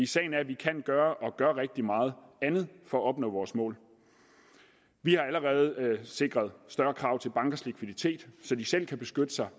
sagen er at vi kan gøre og gør rigtig meget andet for at nå vores mål vi har allerede sikret større krav til bankers likviditet så de selv kan beskytte sig